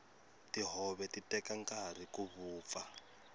tihove ti teka nkarhi ku vupfa